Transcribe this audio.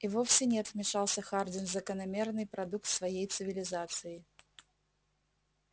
и вовсе нет вмешался хардин закономерный продукт своей цивилизации